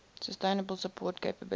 sustainable support capabilities